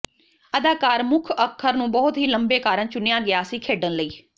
ਅਦਾਕਾਰ ਮੁੱਖ ਅੱਖਰ ਨੂੰ ਬਹੁਤ ਹੀ ਲੰਬੇ ਕਾਰਨ ਚੁਣਿਆ ਗਿਆ ਸੀ ਖੇਡਣ ਲਈ